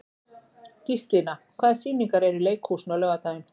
Gíslína, hvaða sýningar eru í leikhúsinu á laugardaginn?